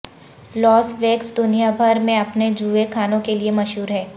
لاس Vegas دنیا بھر میں اپنے جوئے خانوں کے لیے مشہور ہے